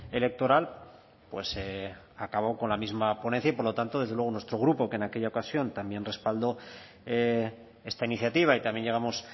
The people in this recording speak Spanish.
electoral pues acabó con la misma ponencia y por lo tanto desde luego nuestro grupo que en aquella ocasión también respaldó esta iniciativa y también llegamos